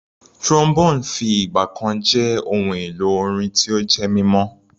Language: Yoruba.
Trombone fi ìgbà jẹ́ ohun èlò orin tó jẹ́ mímọ́.